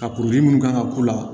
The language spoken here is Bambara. Ka kuruli minnu kan ka k'u la